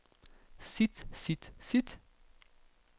sit sit sit